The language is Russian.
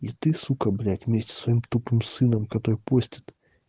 и ты сука блять вместе со своим тупым сыном который постит